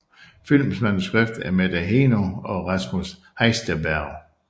Filmens manuskript er Mette Heeno og Rasmus Heisterberg